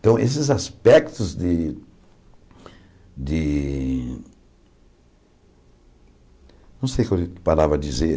Então, esses aspectos de de... Não sei o que eu parava dizer.